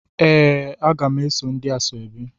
Ee, a ga m eso na ndi Asaobi.